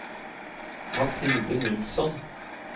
Mathilde Nilsson